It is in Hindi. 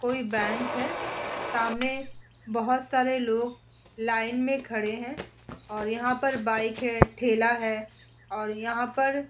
कोई बैंक है। सामने बोहोत सारे लोग लाइन में खड़े हैं और यहाँ पर बाइक है ठेला है और यहाँ पर --